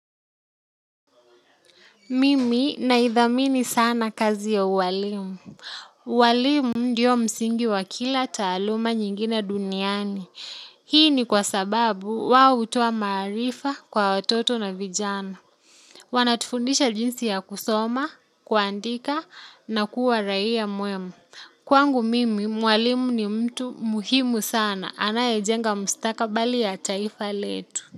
Mimi naidhamini sana kazi ya uwalimu. Walimu ndio msingi wa kila taaluma nyingine duniani hii ni kwa sababu wao hutoa maarifa kwa watoto na vijana. Wanatufundisha jinsi ya kusoma, kuandika na kuwa raia mwema. Kwangu mimi, mwalimu ni mtu muhimu sana. Anayejenga mustakabali ya taifa letu.